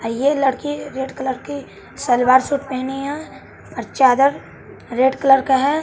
आ ये लड़की red colour की सलवार सूट पहेनी है और चादर रेड कलर का है।